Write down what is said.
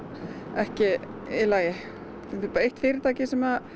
ekki í lagi þetta er bara eitt fyrirtæki sem